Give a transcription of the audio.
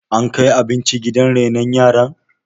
ankai abinci gidan renon yaran?